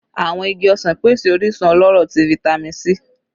Awọn igi osan pese orisun ọlọrọ ti Vitamin C